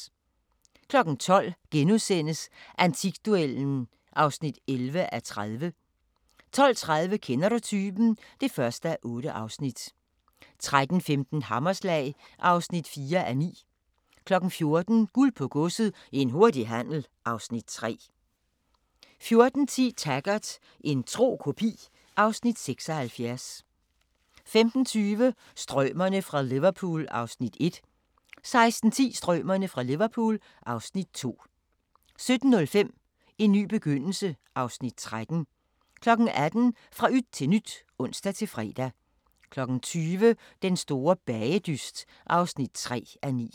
12:00: Antikduellen (11:30)* 12:30: Kender du typen? (1:8) 13:15: Hammerslag (4:9) 14:00: Guld på Godset – en hurtig handel (Afs. 3) 14:10: Taggart: En tro kopi (Afs. 76) 15:20: Strømerne fra Liverpool (Afs. 1) 16:10: Strømerne fra Liverpool (Afs. 2) 17:05: En ny begyndelse (Afs. 13) 18:00: Fra yt til nyt (ons-fre) 20:00: Den store bagedyst (3:9)